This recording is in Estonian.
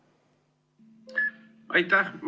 Aitäh!